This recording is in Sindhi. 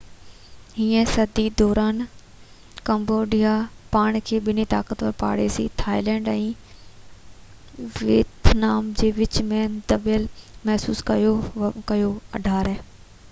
18 هين صدي دوران ڪمبوڊيا پاڻ کي ٻن طاقتور پاڙيسري ٿائيلينڊ ۽ ويتنام جي وچ ۾ دٻيل محسوس ڪيو